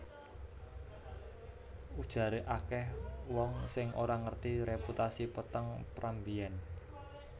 Ujaré akèh wong sing ora ngerti reputasi peteng Pram mbiyèn